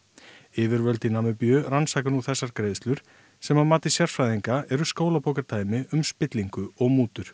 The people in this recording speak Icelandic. yfirvöld í Namibíu rannsaka nú þessar greiðslur sem að mati sérfræðinga eru skólabókardæmi um spillingu og mútur